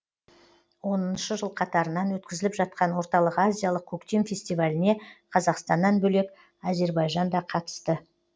оныншы жыл қатарынан өткізіліп жатқан орталық азиялық көктем фестиваліне қазақстаннан бөлек әзербайжан да қатысты